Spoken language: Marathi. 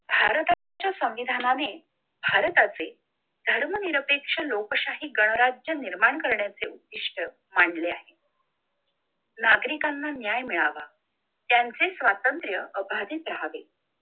भारताच्या संविधानाने भारताचे धर्मनिरपेक्ष लोकशाही गणराज्य निर्माण करण्याचे उत्तिष्ठ मांडले आहे! नागरिकांना न्याय मिळावा, त्यांचे स्वातंत्र्य अभावीत राहावे,